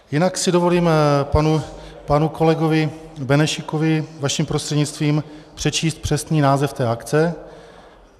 Jinak si dovolím panu kolegovi Benešíkovi vaším prostřednictvím přečíst přesný název té akce.